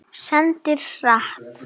Syndir hratt.